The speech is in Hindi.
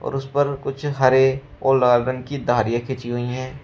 और उस पर कुछ हरे और लाल रंग की धारियां खींची हुई है।